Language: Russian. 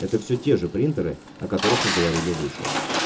это все те же принтеры о которых мы говорили выше